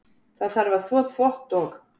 Það þarf að þvo þvott og.